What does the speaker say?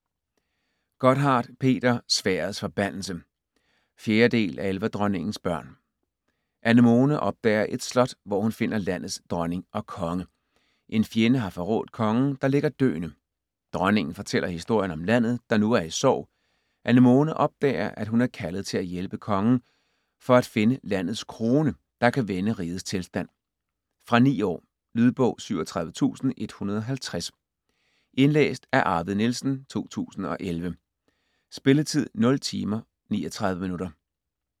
Gotthardt, Peter: Sværdets forbandelse 4. del af Elverdronningens børn. Anemone opdager et slot, hvor hun finder landets dronning og konge. En fjende har forrådt kongen, der ligger døende. Dronningen fortæller historien om landet, der nu er i sorg. Anemone opdager, at hun er kaldet til at hjælpe kongen med at finde landets krone, der kan vende rigets tilstand. Fra 9 år. Lydbog 37150 Indlæst af Arvid Nielsen, 2011. Spilletid: 0 timer, 39 minutter.